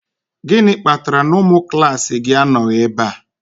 Gịnị kpatara na ụmụ klaasị gị anọghị ebe a?